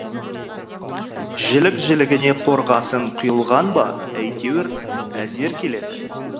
жілік жілігіне қорғасын құйылған ба әйтеуір әзер келеді